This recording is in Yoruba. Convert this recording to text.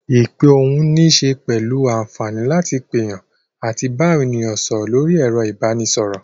Ìpè ohùn níṣe pẹ̀lú àǹfààní láti pèyàn àti bá àwọn ènìyàn sọ̀rọ̀ lórí ẹ̀rọ ìbanisọ̀rọ̀.